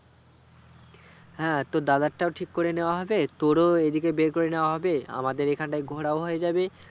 হ্যাঁ তোর দাদারটাও ঠিক করে নিও হবে তোরো এইদিকে বের করে নেওয়া হবে আমাদের এখানটায় ঘোরাও হয়ে যাবে